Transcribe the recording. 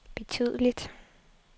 betydeligt